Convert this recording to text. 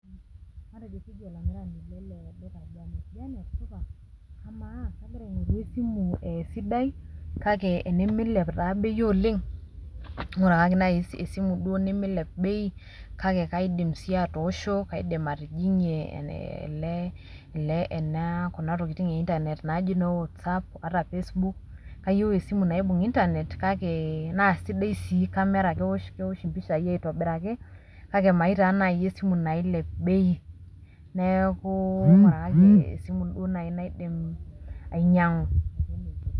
Matejo keji olamirani lele duka Janet. Janet supa. Kamaa kagira aing'or esimu sidai, kake enimilep taa bei oleng, ng'urakaki nai esimu duo nimilep bei, kake kaidim si atoosho, kaidim atijing'ie ele kuna tokiting e Internet naji no WhatsApp, ata Facebook, kayieu esimu naibung' Internet kake naa sidai si camera kewosh empishai aitobiraki, kake mayieu taa nai esimu nailep bei. Neeku ng'urakaki esimu duo nai naidim ainyang'u.